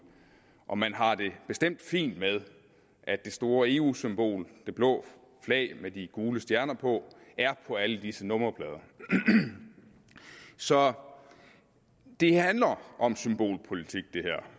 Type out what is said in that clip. og man har det bestemt fint med at det store eu symbol det blå flag med de gule stjerner på er på alle disse nummerplader så det handler om symbolpolitik